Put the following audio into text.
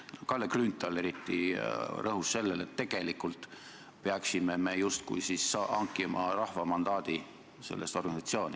Eriti Kalle Grünthal rõhus sellele, et tegelikult peaksime me justkui hankima rahva mandaadi sellesse organisatsiooni.